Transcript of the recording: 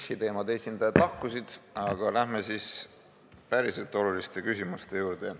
Nišiteemade esindajad lahkusid, aga läheme siis päriselt oluliste küsimuste juurde.